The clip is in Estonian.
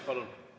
Palun!